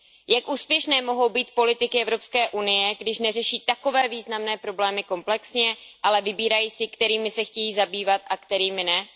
Jak úspěšné mohou být politiky Evropské unie, když neřeší takové významné problémy komplexně, ale vybírají si, kterými se chtějí zabývat a kterými ne?